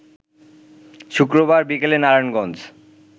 শুক্রবার বিকেলে নারায়ণগঞ্জ